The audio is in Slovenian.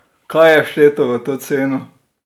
Kaj je všteto v to ceno?